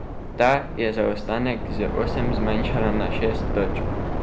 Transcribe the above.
Ta je zaostanek z osem zmanjšala na šest točk.